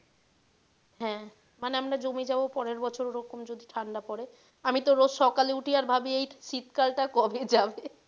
হ্যাঁ মানে আমরা জমে যাবো পরের বছর ওরকম যদি ঠাণ্ডা পড়ে আমিতো রোজ সকালে উঠি আর ভাবি এই শীতকাল টা কবে যাবে